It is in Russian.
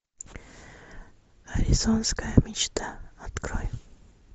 аризонская мечта открой